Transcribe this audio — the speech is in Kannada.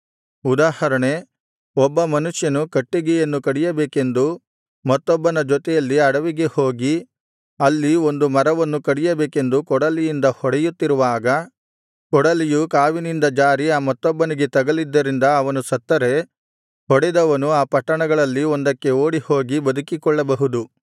ಉದಾಹರಣೆ ಒಬ್ಬ ಮನುಷ್ಯನು ಕಟ್ಟಿಗೆಯನ್ನು ಕಡಿಯಬೇಕೆಂದು ಮತ್ತೊಬ್ಬನ ಜೊತೆಯಲ್ಲಿ ಅಡವಿಗೆ ಹೋಗಿ ಅಲ್ಲಿ ಒಂದು ಮರವನ್ನು ಕಡಿಯಬೇಕೆಂದು ಕೊಡಲಿಯಿಂದ ಹೊಡೆಯುತ್ತಿರುವಾಗ ಕೊಡಲಿಯು ಕಾವಿನಿಂದ ಜಾರಿ ಆ ಮತ್ತೊಬ್ಬನಿಗೆ ತಗಲಿದ್ದರಿಂದ ಅವನು ಸತ್ತರೆ ಹೊಡೆದವನು ಆ ಪಟ್ಟಣಗಳಲ್ಲಿ ಒಂದಕ್ಕೆ ಓಡಿಹೋಗಿ ಬದುಕಿಕೊಳ್ಳಬಹುದು